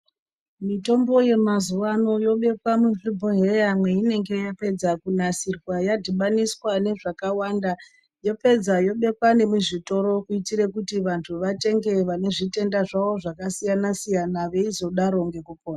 Mitombo yemazuwano yobekwa panozvibhodhleya, imwe inenge yapedza kunasirwa yadibaniswa nezvakawanda. Yopedza yobekwa nemuzvitoro, kuyitire kuti vantu vatenge vanezvitenda zvawo zvakasiyana siyana, veyizodaro ngekupona.